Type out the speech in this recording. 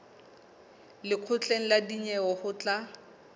lekgotleng la dinyewe ho tla